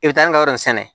I bɛ taa n ka yɔrɔ in sɛnɛ